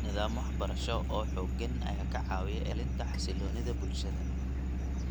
Nidaam waxbarasho oo xooggan ayaa ka caawiya ilaalinta xasilloonida bulshada.